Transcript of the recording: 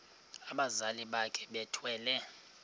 abazali bakhe bethwele